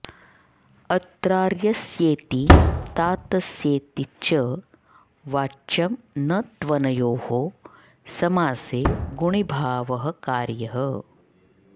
अत्रार्यस्येति तातस्येति च वाच्यम् न त्वनयोः समासे गुणीभावः कार्यः